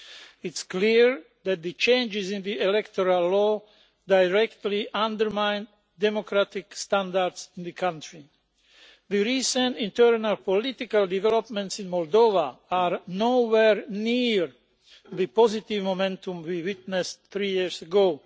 It is clear that the changes in the electoral law directly undermine democratic standards in the country. The recent internal political developments in Moldova are nowhere near the positive momentum we witnessed three years ago.